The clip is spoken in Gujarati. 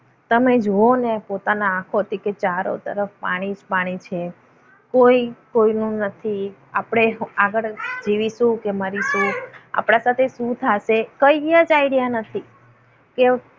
તમે જુઓ ને પોતાના આંખોથી કે ચારો તરફ પાણી જ પાણી છે. કોઈ કોઈનું નથી આપણે આગળ જીવીશું કે મરીશું. આપણા સાથે શું થશે? કઈ જ idea નથી. કે